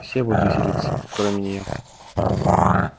все будут веселиться кроме нее